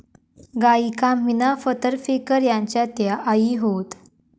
गायिका मीना फतर फेकर यांच्या त्या आई होत